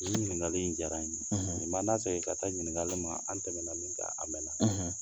Nin ɲininkakali in diyara in ye , nin ma na segi ka taa ɲininkali ma; an tɛmɛna min kan a mɛna.